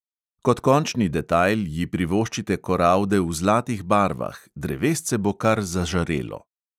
Kot končni detajl ji privoščite koralde v zlatih barvah, drevesce bo kar zažarelo.